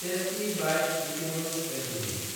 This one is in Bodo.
tasty Bite Eatables Ltd